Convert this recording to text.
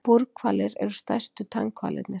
Búrhvalir eru stærstu tannhvalirnir.